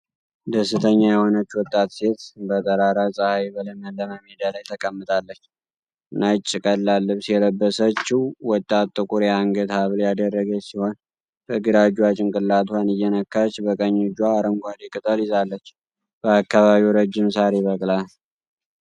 ደስተኛ የሆነች ወጣት ሴት በጠራራ ፀሐይ በለመለመ ሜዳ ላይ ተቀምጣለች። ነጭ፣ ቀላል ልብስ የለበሰችው ወጣት ጥቁር የአንገት ሐብል ያደረገች ሲሆን፣ በግራ እጇ ጭንቅላቷን እየነካች በቀኝ እጇ አረንጓዴ ቅጠል ይዛለች። በአካባቢው ረጅም ሳር ይበቅላል።